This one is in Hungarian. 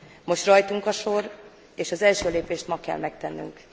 Most rajtunk a sor, és az első lépést ma kell megtennünk.